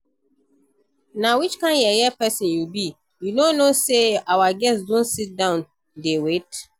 Na which kin yeye person you be? You no know say our guests don sit down dey wait